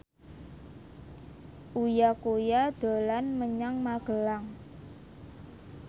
Uya Kuya dolan menyang Magelang